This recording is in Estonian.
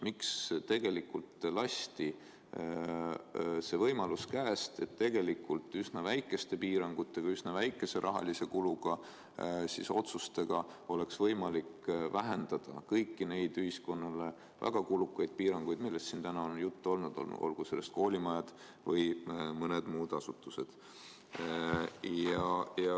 Miks lasti käest võimalus, et tegelikult üsna väikese rahakuluga vähendada kõiki neid ühiskonnale väga kulukaid piiranguid, millest täna siin juttu on olnud – puudutagu need koolimaju või muid asutusi?